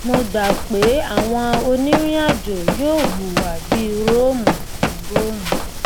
mo gbà pé àwọn onírìnàjò yóò hùwà bí róòmù ní róòmù